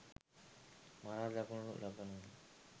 මරා දමනු ලබනවා.